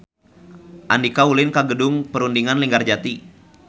Andika ulin ka Gedung Perundingan Linggarjati